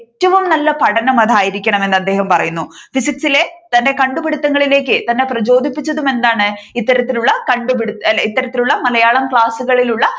ഏറ്റവും നല്ല പഠനം അതായിരിക്കണമെന്നു അദ്ദേഹം പറയുന്നു ഫിസിക്സ് ഇലെ തന്റെ കണ്ടുപിടിത്തങ്ങളിലേക്ക് തന്നെ പ്രചോദിപ്പിച്ചതും എന്താണ് ഇത്തരത്തിലുള്ള കണ്ടുപിടഇത്തരത്തിലുള്ള മലയാളം ക്ലാസ്സുകളിലുള്ള